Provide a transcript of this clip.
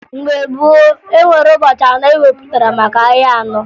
Mgbe gboo, e nwere ụbọchị anọ e wepụtara maka ahịa anọ